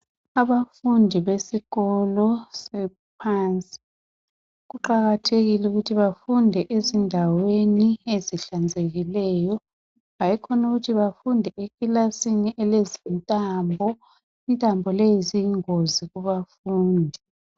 Abafundi besikolo saphansi kuqakathekile ukuthi bafunde ezindaweni ezihlanzekileyo . Hayikhona ukuthi befunde ekilasini elezintambo. Intambo lezi ziyingozi kubafundi.